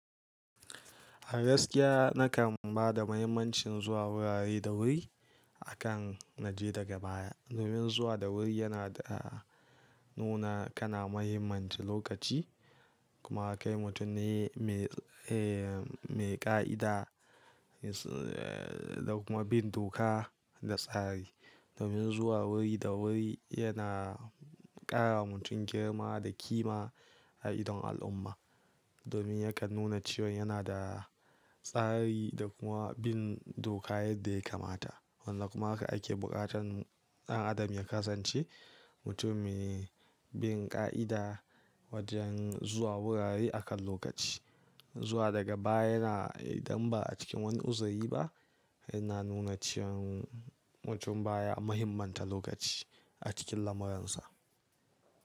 A gaskiya na kam ba da mahimmancin zuwa wurare da wuri, akan naje daga baya. Domin zuwa da wuri yana da, nuna kana muhimmanci lokaci, kuma kai mutum ne mai, eh, mai ƙa'ida da kuma bin doka da tsari. Domin zuwa wuri da wuri, yana ƙarawa mutum girma da kima a idon al'umma. Domin ya kan nuna cewan yana da tsari da kuma bin doka yadda ya kamata. Wannan kuma aka ake buƙatan ɗan adam ya kasance, mutum mai bin ƙa'ida wajen zuwa wurare akan lokaci. Zuwa daga baya yana, idan ba'a cikin wani uzuri ba, yana nuna cewan mutum baya mahimmanta lokaci a cikin lamuransa.